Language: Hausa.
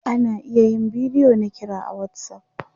ana iya yin bidiyo na kira a WhatsApp